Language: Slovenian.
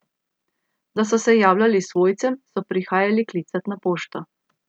Da so se javljali svojcem, so prihajali klicat na pošto.